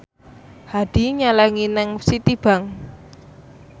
Hadi nyelengi nang Citibank